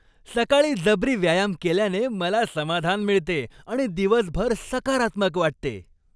सकाळी जबरी व्यायाम केल्याने मला समाधान मिळते आणि दिवसभर सकारात्मक वाटते.